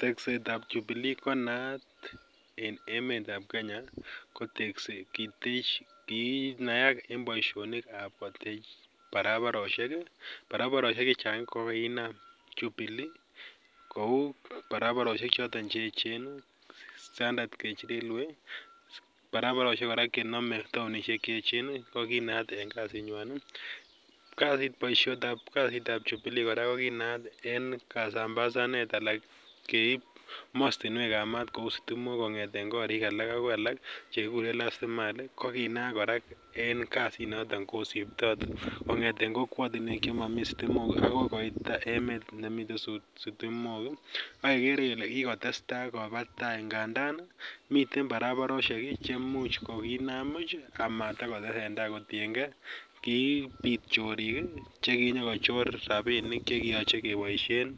Tekset ap Jubilee ko naat en emet ap Kenya. Kinaak eng' poishonik ap kotech paraparoshek. Paraparoshek che chang' ko kiinam Jubilee, kou paraparoshek che echen i, Standard Gauge Railway ak paraparoshek kora che echen. Ko kinaat en kasinywan. Poishet ap jubilee kora ko kinaat en kasambasanet ana keip mastinwek kong'eten korik ala akoi alak che kikure last mile ko ki naak kora en kasinotok kosiptai kong'ete kokwatinwek che mami stimet akoi koit emet nemitei sitimok. Ak kekere kole kikotes tai kopat tai, ngandan miten paralaroshek che much kiinam puch ak komatakotesen tai kotien ge kipit chorik che kinyakochor rapinik che kiyache kepaishen